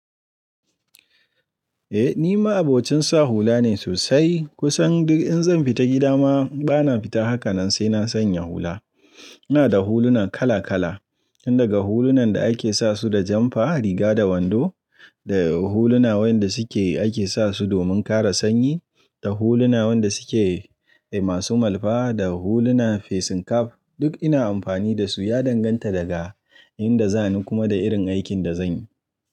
Eh ni ma abocin sa hula ne sosai. Kusan duk in zan fita gida ma bana fita haka nan sai na sanya hula. Ina da huluna kala kala. Tun da ga hulunan da ake sa su da janfa, riga da wando, da huluna wanda ake sa su domin kare sanyi, da huluna wanda su ke masu malfa, da huluna facing cap duk ina amfani da su ya danganta daga inda za ni kuma da irin aikin da zan yi.